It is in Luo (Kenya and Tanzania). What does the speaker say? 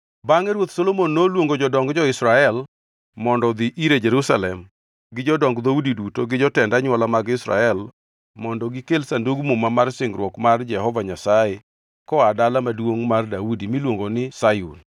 Bangʼe Ruoth Solomon noluongo jodong jo-Israel mondo odhi ire Jerusalem gi jodong dhoudi duto gi jotend anywola mag Israel mondo gikel Sandug Muma mar singruok mar Jehova Nyasaye koa Dala Maduongʼ mar Daudi miluongo ni Sayun.